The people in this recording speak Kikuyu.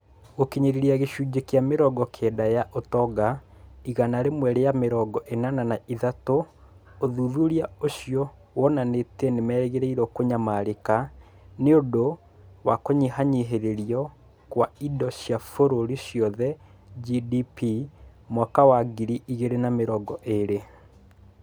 Gũkinyĩria gĩcunjĩ kĩa mĩrongo kenda ya ũtonga igana rĩmwe rĩa mĩrongo ĩnana na ithatũ ũthuthuria ũcio wonanĩtie nĩ merĩgĩrĩirwo kũnyamarĩka nĩ ũndũ wa kũnyihanyihĩrio kwa indo cia bũrũri ciothe (GDP) mwaka wa ngiri igĩrĩ na mĩrongo ĩĩrĩ.